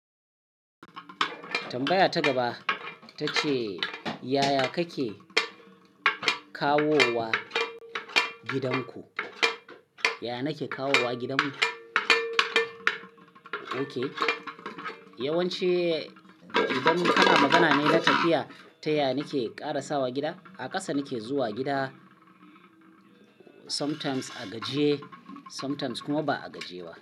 Tambaya ta gaba ta ce, yaya kake kawowa gidan ku? Yaya nake kawowa gidan mu? Ok, yawanci idan kana magana ne da tafiya, ta yaya nake karasawa gida, a ƙasa nake zuwa gida sometimes a gajiye sometimes kuma ba a gajiye ba.